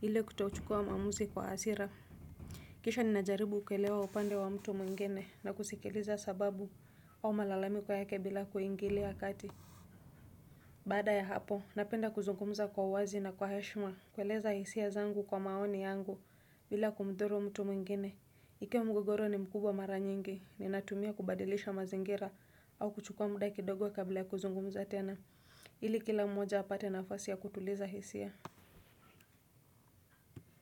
ile kutochukua maamuzi kwa hasira. Kisha ninajaribu kuelewa upande wa mtu mwingine na kusikiliza sababu au malalamiko yake bila kuingilia kati baada ya hapo napenda kuzungumza kwa uwazi na kwa heshima kueleza hisia zangu kwa maoni yangu bile kumdhuru mtu mwingine. Ikiwa mgogoro ni mkubwa mara nyingi ninatumia kubadilisha mazingira au kuchukua muda kidogo kabla ya kuzungumza tena. Ili kila mmoja apate nafasi ya kutuliza hisia.